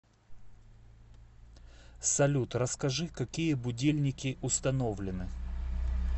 салют расскажи какие будильники установлены